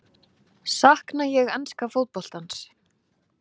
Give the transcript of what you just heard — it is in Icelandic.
Sakna ég enska fótboltans?